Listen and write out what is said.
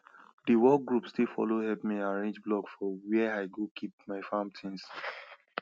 the work group still follow help me arrange block for where i go keep my farm things